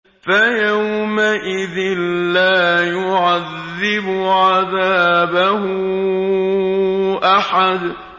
فَيَوْمَئِذٍ لَّا يُعَذِّبُ عَذَابَهُ أَحَدٌ